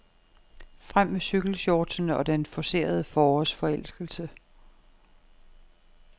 Frem med cykelshortsene og den forcerede forårsforelskelse.